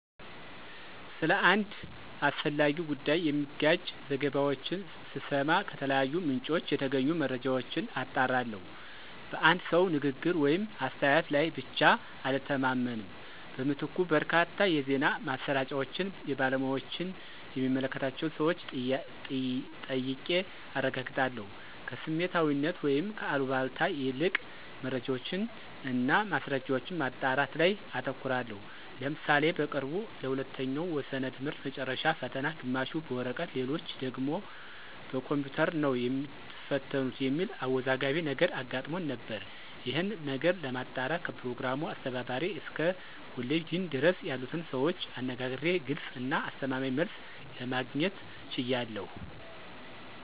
ስለ አንድ አስፈላጊ ጉዳይ የሚጋጭ ዘገባዎችን ስሰማ ከተለያዩ ምንጮች የተገኙ መረጃዎችን አጣራለሁ። በአንድ ሰው ንግግር ወይም አስተያየት ላይ ብቻ አልተማመንም። በምትኩ በርካታ የዜና ማሰራጫዎችን፣ የባለሙያዎችን የሚመለከታቸውን ሰወች ጠይቄ አረጋግጣለሁ። ከስሜታዊነት ወይም ከአሉባልታ ይልቅ መረጃዎችን እና ማስረጃዎችን ማጣራት ላይ አተኩራለሁ። ለምሳሌ በቅርቡ ለሁለተኛው ወሰነ ትምህርት መጨረሻ ፈተና ግማሹ በወረቀት ሌሎች ደግሞ በኮምፒውተር ነው የሚትፈተኑት የሚል አወዛጋቢ ነገር አጋጥሞን ነበር። ይሄንን ነገር ለማጣራት ከፕሮግራሙ አስተባባሪ እስከ ኮሌጅ ዲን ድረስ ያሉትን ሰዎች አነጋግሬ ግልጽ እና አስተማማኝ መልስ ለማግኘት ችያለሁ።